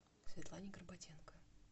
светлане горбатенко